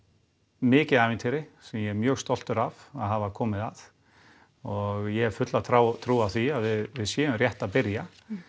mikið ævintýri sem ég er mjög stoltur af að hafa komið að og ég hef fulla trú trú á því að við séum rétt að byrja